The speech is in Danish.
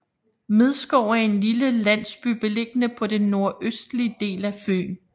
Midskov er en lille landsby beliggende på den nordøstlige del af Fyn